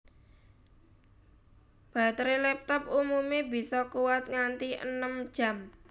Batere laptop umume bisa kuwat nganti enem jam